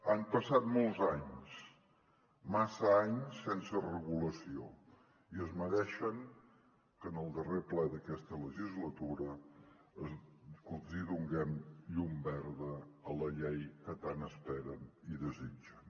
han passat molts anys massa anys sense regulació i es mereixen que en el darrer ple d’aquesta legislatura donem llum verda a la llei que tant esperen i desitgen